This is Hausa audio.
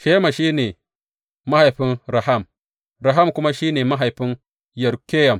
Shema shi ne mahaifin Raham, Raham kuma shi ne mahaifin Yorkeyam.